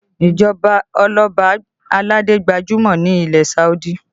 Ìjọba oloba aládé gbajúmọ̀ ní ilẹ̀ Saudi